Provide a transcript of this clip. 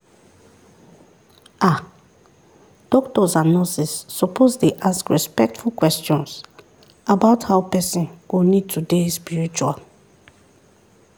"ah doctors and nurses suppose dey ask respectful questions about how person go need to dey spiritual